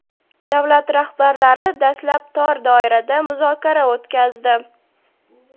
Davlat rahbarlari dastlab tor doirada muzokara o‘tkazdi.